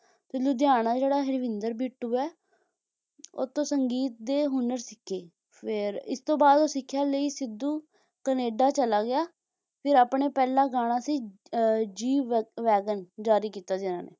ਤੇ ਲੁਧਿਆਣਾ ਜਿਹੜਾ ਹਰਵਿੰਦਰ ਬਿੱਟੂ ਹੈ ਓਹਦੇ ਤੋਂ ਸੰਗੀਤ ਦੇ ਹੁਨਰ ਸਿੱਖੀ ਫੇਰ ਇਸਤੋਂ ਬਾਅਦ ਸਿੱਖਿਆ ਲਈ ਸਿੱਧੂ ਕਨੇਡਾ ਚਲਾ ਗਿਆ ਫਿਰ ਆਪਣਾ ਪਹਿਲਾ ਗਾਣਾ ਸੀ ਅਹ ਜੀ ਵਗ`ਵੈਗਨ ਜਾਰੀ ਕੀਤਾ ਜੀ ਇਨ੍ਹਾਂ ਨੇ